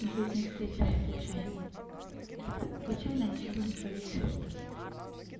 ну все эти встречи не случайные случайно ничего не происходит